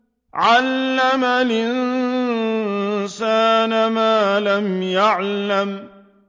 عَلَّمَ الْإِنسَانَ مَا لَمْ يَعْلَمْ